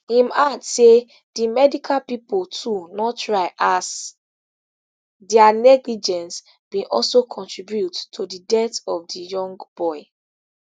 im add say di medical pipo too no try as dia negligence bin also contribute to di death of di young boy